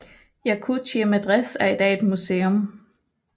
Yakutiye Medrese er i dag museum